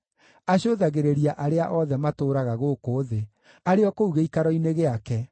acũthagĩrĩria arĩa othe matũũraga gũkũ thĩ, arĩ o kũu gĩikaro-inĩ gĩake,